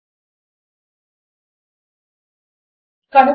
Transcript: ఇప్పుడు నేను కనుక 1 కంటే 1 పెద్దది లేదా సమానము అవుతుంది